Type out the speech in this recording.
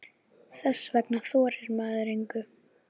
Þess vegna þorir maður engu.